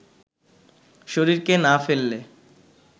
শরীরকে না ফেললে